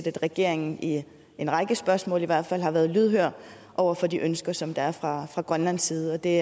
at regeringen i en række spørgsmål i hvert fald har været lydhør over for de ønsker som der er fra fra grønlandsk side og det